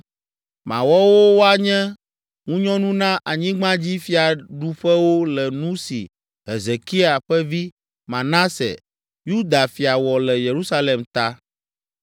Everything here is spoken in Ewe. Mawɔ wo woanye ŋunyɔnu na anyigbadzifiaɖuƒewo le nu si Hezekia ƒe vi, Manase, Yuda fia wɔ le Yerusalem ta.